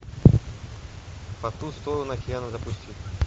по ту сторону океана запусти